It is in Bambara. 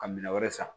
Ka minɛn wɛrɛ san